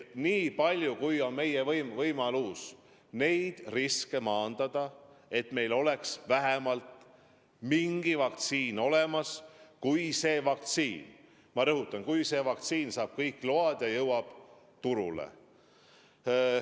Nii palju, kui on meie võimalus neid riske maandada, me seda teeme, et meil oleks vähemalt mingi vaktsiin olemas, kui see vaktsiin – ma rõhutan: kui see vaktsiin – saab kõik load ja jõuab turule.